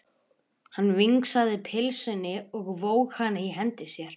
Hann vingsaði pylsunni og vóg hana í hendi sér.